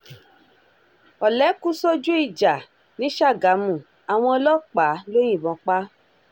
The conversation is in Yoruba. ọ̀lẹ́ kú sójú ìjà ní ṣàgámù àwọn ọlọ́pàá ló yìnbọn pa á